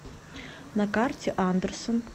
на карте андерсен